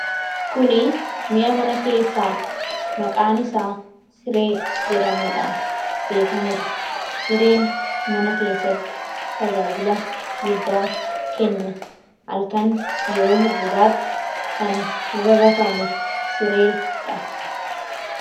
Kun mi'a mana keessaa maqaan isaa siree jedhamuudhaan beekamuudha. Sireen mana keessatti tajaajila guddaa kenna. Halkan yeroo hirribaatti kan irra rafamu sireedha.